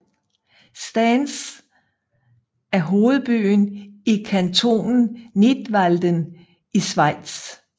Stans er hovedbyen i kantonen Nidwalden i Schweiz